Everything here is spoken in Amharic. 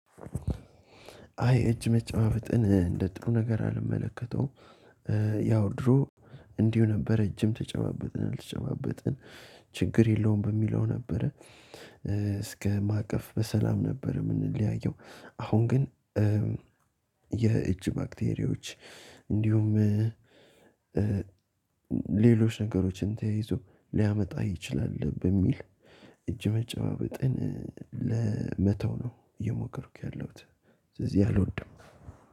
አይ እጅ መጨባበጥን እንደ ጥሩ ነገር አልመለከተውም። ያው ድሮ እንዲሁ ነበር እጅም ተጨባበጥን አልተጨባበጥን ችግር የለውም በሚለው ነበረ። እስከ ማቀፍ በሰላም ነበር የምንለያየው። አሁን ግን የእጅ ባክቴሪዎች እንዲሁም። ሌሎች ነገሮችን ተያይዞ ሊያመጣ ይችላል በሚል እጅ መጨባበጥን ለመተው ነው እየሞከርኩ ያለሁት። ስለዚህ አልወድም።